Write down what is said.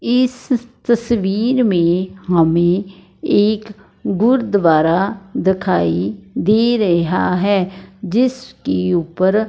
इस तस्वीर में हमें एक गुरुद्वारा दिखाई दे रहा है जिसकी ऊपर--